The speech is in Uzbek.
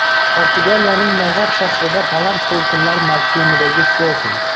Portugaliyaning Nazar shahrida baland to‘lqinlar mavsumidagi syorfing.